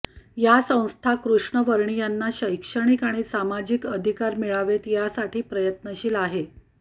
या संस्था कृष्णवर्णीयांना शैक्षणिक आणि सामाजिक अधिकार मिळावेत यासाठी प्रयत्नशील आहे